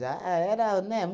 era, né?